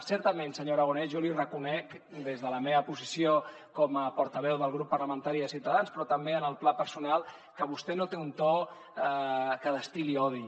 certament senyor aragonès jo li reconec des de la meva posició com a portaveu del grup parlamentari de ciutadans però també en el pla personal que vostè no té un to que destil·li odi